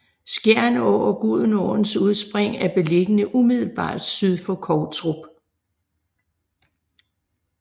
Skjern Å og Gudenåens udspring er beliggende umiddelbart syd for Kovtrup